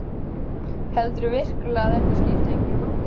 Heldurðu virkilega að þetta skipti einhverju máli?